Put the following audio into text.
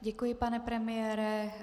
Děkuji, pane premiére.